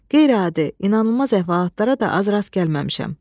Qeyri-adi, inanılmaz əhvalatlara da az rast gəlməmişəm.